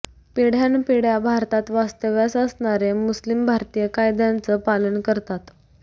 पिढ्यानपिढ्या भारतात वास्तव्यास असणारे मुस्लिम भारतीय कायद्यांचं पालन करतात